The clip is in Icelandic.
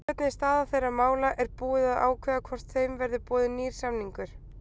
Hvernig er staða þeirra mála, er búið að ákveða hvort þeim verði boðinn nýr samningur?